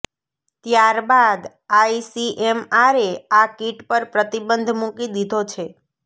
ત્યારબાદ આઈસીએમઆરે આ કિટ પર પ્રતિબંધ મૂકી દીધો છે